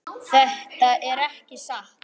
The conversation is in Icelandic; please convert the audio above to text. Þetta er ekki satt.